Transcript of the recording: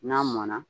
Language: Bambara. N'a mɔnna